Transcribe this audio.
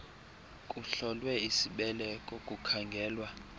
kuhlolwe isibeleko kukhangelwa